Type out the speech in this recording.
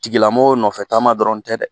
Tigilamɔgɔ nɔfɛ taama dɔrɔn tɛ dɛ